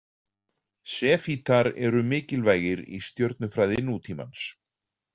Sefítar eru mikilvægir í stjörnufræði nútímans.